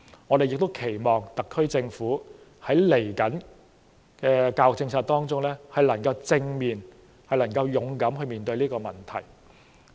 我們更期望特區政府在接下來的教育政策改革上，能夠正面和勇敢地面對這個問題。